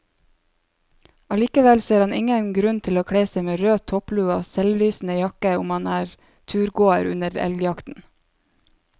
Allikevel ser han ingen grunn til å kle seg med rød topplue og selvlysende jakke om man er turgåer under elgjakten.